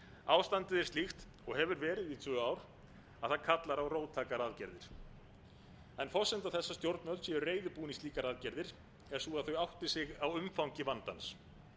ástandið er slíkt og hefur verið í tvö ár að það kallar á róttækar aðgerðir forsenda þess að stjórnvöld séu reiðubúin í slíkar aðgerðir er sú að þau átti sig á umfangi vandans